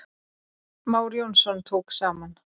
már jónsson tók saman